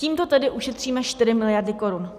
Tímto tedy ušetříme 4 miliardy korun.